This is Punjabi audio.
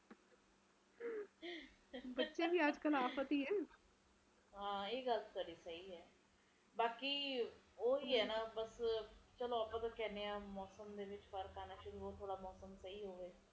ਪ੍ਰਦੂਸ਼ਣ ਕਰਕੇ ਜ਼ਿਆਦਾ ਹੈ ਜਿਥੇ ਪ੍ਰਦੂਸ਼ਣ ਜ਼ਿਆਦਾ ਹੈ ਓਥੇ ਠੰਡ ਆਪੇ ਆਪ ਹੀ ਘਟ ਜਾਂਦੀ ਐ ਇਹ ਤਾ ਗੱਲ ਆਪਾ ਨੂੰ ਪਤਾ ਹੀ ਹੈ ਹਾਂਜੀ ਹਾਂਜੀ ਇਸਦੇ ਕਰਕੇ ਮੌਸਮ ਦਾ ਵੀ ਫਰਕ ਪੈਂਦਾ ਹੈ